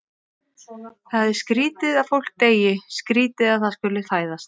Það er skrýtið að fólk deyi, skrýtið að það skuli fæðast.